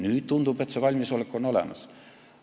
Nüüd tundub, et see valmisolek on olemas.